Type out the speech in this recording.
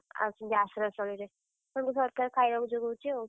ଆସିକି ଆଶ୍ରୟସ୍ଥଳୀରେ। ତାଙ୍କୁ ସରକାର ଖାଇଆକୁ ଯୋଗଉଛି ଆଉ।